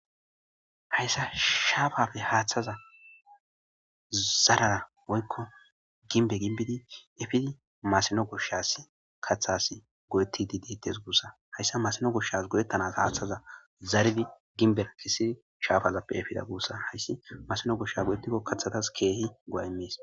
Haysa shaafaappe haaththazan zaraara woykko gimbbe gimbbidi efidi masino goshshaassi kaththaassi go7eththiidde deeththes guussa;haysa masino goshshaas go7eththanaas aaththaza zaridi gimbbeththisi shaafazappe efida gusa; masino goshshaa go7eththikko kathththaas keehi go7aa immes.